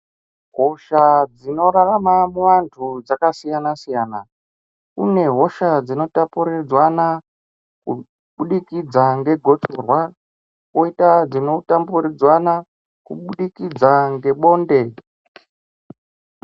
Hosha dzino rarama mu vantu dzaka siyana siyana kune hosha dzino tapuridzwana ku budikidza nge gotsorwa koita dzino tamburidzwana ku budikidza nge bonde.